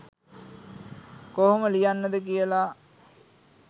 කොහොම ලියන්නද කියලා.